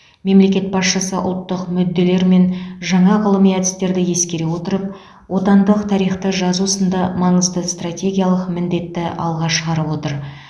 мемлекет басшысы ұлттық мүдделер мен жаңа ғылыми әдістерді ескере отырып отандық тарихты жазу сынды маңызды стратегиялық міндетті алға шығарып отыр